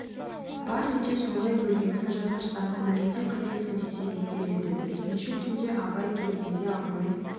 бар үйде солай өлгенін жасырсаң көмгенде қайтесің десе не дер еді өйткенше түнде абай келгенде алдымен